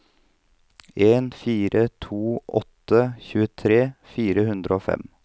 en fire to åtte tjuetre fire hundre og fem